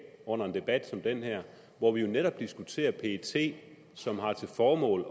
under en debat som den her hvor vi jo netop diskuterer pet som har til formål